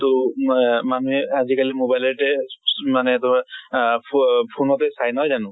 তʼ ম মানুহে আজি কালি mobile তে মানে ধৰা আহ ফ phone তে নহয় জানো?